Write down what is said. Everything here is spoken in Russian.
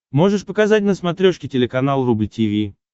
можешь показать на смотрешке телеканал рубль ти ви